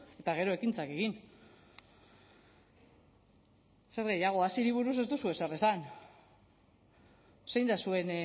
eta gero ekintzak egin zer gehiago haziri buruz ez duzu ezer esan zein da zuen